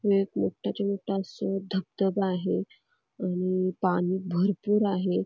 इथे मोठाच्या मोठा असं धबधबा आहे आणि पाणी भरपूर आहे.